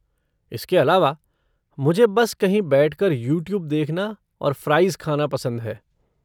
इसके अलावा, मुझे बस कहीं बैठकर यूट्यूब देखना और फ़्राइज़ खाना पसंद है।